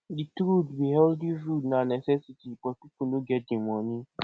di truth be healthy food na necessity but pipo no get di moni